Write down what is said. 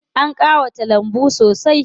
An ƙawata lambun sosai.